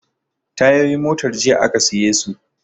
Tayoyin motar jiya aka siye su